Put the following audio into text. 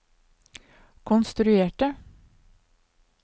konstruerte